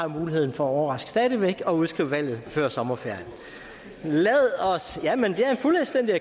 muligheden for at overraske og udskrive valget før sommerferien jamen